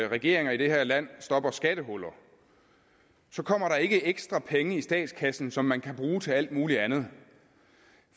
regeringer i det her land stopper skattehuller kommer der ikke ekstra penge i statskassen som man kan bruge til alt muligt andet